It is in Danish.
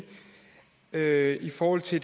er i forhold til